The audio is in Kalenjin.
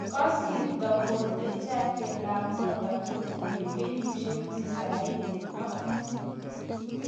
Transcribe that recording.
Kasirta Bonde jake LaMotta kotinye kenyisieg tisaini ak mut